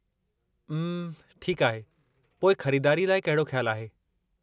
अम्म, ठीकु आहे, पोइ ख़रीदारीअ लाइ कहिड़ो ख़्यालु आहे?